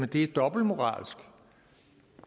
det er dobbeltmoralsk